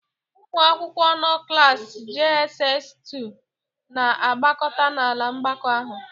Ụmụ akwụkwọ nnọ klas "JSS Otu" na-agbakọta n'ala mgbakọ ahụ.